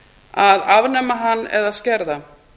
að afnema hann eða skerða